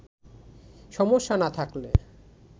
সমস্যা না থাকলে